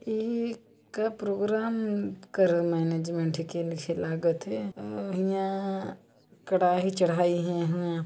ये एक प्रोग्राम कर मैनेजमेंट के लिखे लागत है और हियाँ कढ़ाई चढ़ाई है यहाँ--